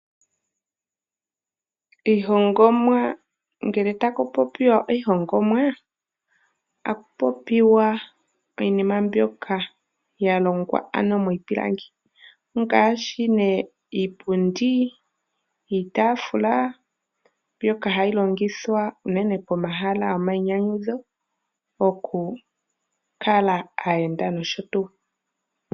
Iihongomwa Ngele taku popiwa iihongomwa otaku popiwa iinima mbyoka ya longwa ano miipilangi ngaashi nee iipundi, iitafula, mbyoka hayi longithwa unene pomahala gomainyanyudho okukala aayenda noshotuu.